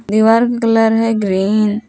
दीवार का कलर है ग्रीन ।